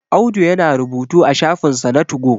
Audu yana rubutu a shafinsa na tugo